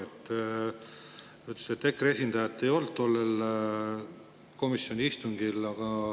Te ütlesite, et EKRE esindajat ei olnud tollel komisjoni istungil.